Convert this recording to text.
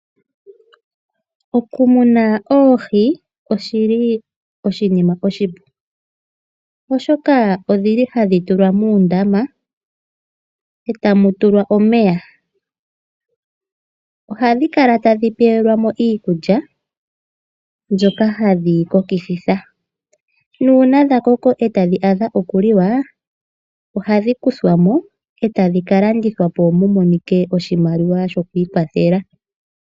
Okumuna oohi oshili oshinima oshipu oshoka odhili hadhi tulwa muundama eta mu tulwa omeya. Odhi kala tadhi pelwa iikulya mbyoka hadhi kokikitha. Nuuna dhakoko eta dhi adha okuliwa ohadhi kuthwamo etadhi kalandithwapo mumonike oshimaliwa sho kwoikwathela.